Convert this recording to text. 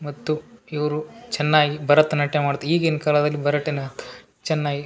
ಮತ್ತು ಇವ್ರು ಚೆನ್ನಾಗಿ ಭರತನಾಟ್ಯ ಮಾಡ್ತ ಈಗಿನ್ ಕಾಲದಲ್ಲಿ ಭರಟ್ಯಾನಾಥ ಚೆನ್ನಾಗಿ --